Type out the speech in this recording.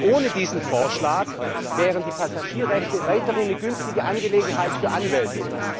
Denn ohne diesen Vorschlag wären die Passagierrechte weiter eine günstige Angelegenheit für Anwälte.